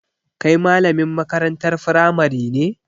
Kai malamin makarantar firamari ne?